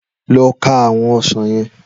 Lọ ka àwọn ọsàn yẹn